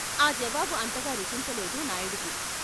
ఆ జవాబు అంతగా రుచించ లేదు నాయుడికి.